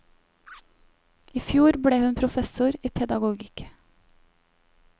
I fjor ble hun professor i pedagogikk.